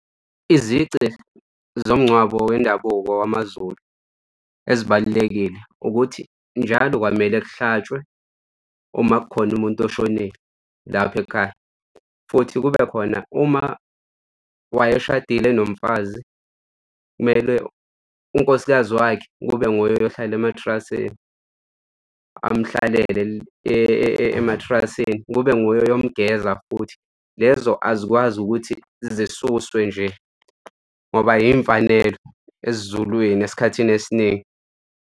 Izici zomngcwabo wendabuko wamaZulu ezibalulekile ukuthi njalo kwamele kuhlatshwe uma kukhona umuntu oshonile lapha ekhaya futhi kube khona, uma wayeshadile enomfazi, kumele unkosikazi wakhe kube nguye ohlala ematrasini, amuhlalele ematrasini kube nguye oyomgeza futhi lezo azikwazi ukuthi zisuswe nje ngoba iy'mfanelo esiZulwini esikhathini esiningi.